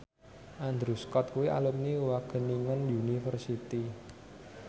Andrew Scott kuwi alumni Wageningen University